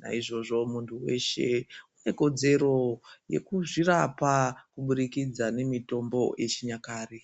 naizvozvo muntu weshe une kodzero yekuzvirapa kubudikidza nemitombo yechinyakare.